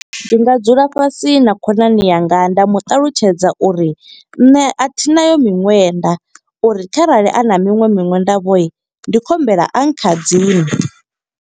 Ndi nga dzula fhasi na khonani yanga, nda mu ṱalutshedza uri nṋe a thi nayo miṅwenda, uri kharali a na miṅwe miṅwenda vho. Ndi khou humbela a khadzime.